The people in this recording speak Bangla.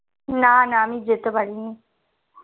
না না আমি যেতে পারিনি